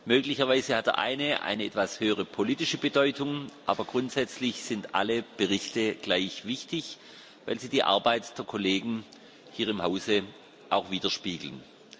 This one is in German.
Möglicherweise hat der eine etwas höhere politische Bedeutung, aber grundsätzlich sind alle Berichte gleich wichtig, weil sie die Arbeit der Kollegen hier im Hause auch widerspiegeln.